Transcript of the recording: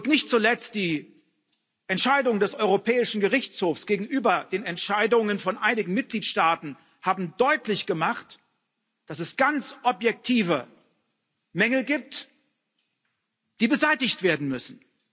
Nicht zuletzt die Entscheidungen des Europäischen Gerichtshofs gegenüber den Entscheidungen von einigen Mitgliedstaaten haben deutlich gemacht, dass es ganz objektive Mängel gibt, die beseitigt werden müssen.